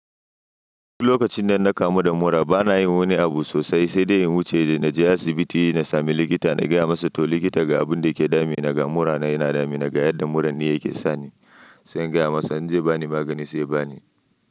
Duk lokacin da na kamu da mura bana yin wani abu sosai sai dai in wuce na je asibiti na sami likita na gaya masa to likita ga abun da yake dame ni ga murana yana dame ni ga yadda muran ne yake sani. Sai in gaya masa in zai bani magani sai ya bani.